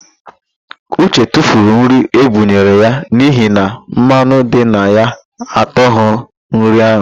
Uche tufuru nri e bunyere ya n'ihi na mmanụ dị na ya atụghị nri ahụ